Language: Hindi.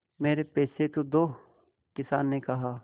मेरे पैसे तो दो किसान ने कहा